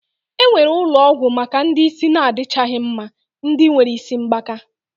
E nwere ulo ogwu Maka ndi isi na adichaghi mma. Ndi nwere isi mgbaka